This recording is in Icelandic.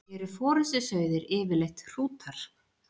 Eru forystusauðir yfirleitt hrútar?